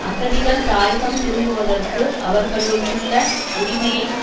அகதிகள் தாயகம் திரும்புவதற்கு அவர்களுக்குள்ள உரிமையை